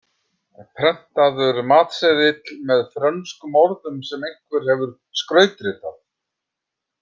Prentaður matseðill með frönskum orðum sem einhver hefur skrautritað.